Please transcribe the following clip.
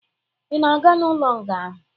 Ị na-aga n'ụlo nga ahụ?